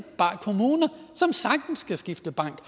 kommuner som sagtens kan skifte bank